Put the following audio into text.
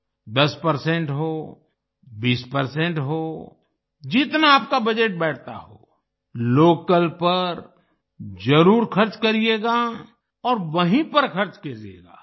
10 percent हो 20 percent हो जितना आपका बजट बैठता हो लोकल पर जरुर खर्च करिएगा और वहीँ पर खर्च कीजिएगा